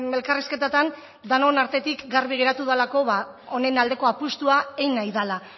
elkarrizketetan denon artetik garbi geratu delako honen aldeko apustua egin nahi dela